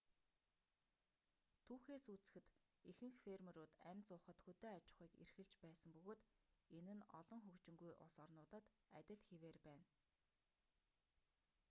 түүхээс үзэхэд ихэнх фермерүүд амь зуухад хөдөө аж ахуйг эрхэлж байсан бөгөөд энэ нь олон хөгжингүй улс орнуудад адил хэвээр байна